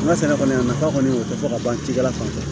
N ka sɛnɛ kɔni a nafa kɔni o tɛ fɔ ka ban cikɛla fan fɛ